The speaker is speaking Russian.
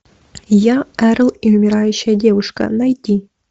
я эрл и умирающая девушка найти